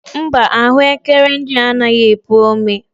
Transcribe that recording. Mba, ahụekere ndị a anaghị epu ome.